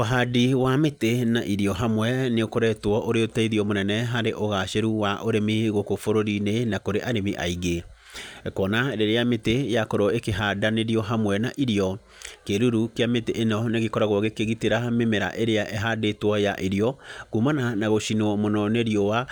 Ũhandi wa mĩtĩ na irio hamwe, nĩ ũkoretwo ũrĩ ũteithio mũnene harĩ ũgacĩru wa ũrĩmi gũkũ bũrũri-inĩ, na kũrĩ arĩmi aingĩ. Kuona rĩrĩa mĩtĩ yakorwo ĩkĩhandanĩrio hamwe na irio, kĩruru kĩa mĩtĩ ĩno nĩ gĩkoragwo gĩkĩgitĩra mĩmera ĩrĩa ĩhandĩtwo ya irio, kumana na gũcinwo mũno nĩ riũa,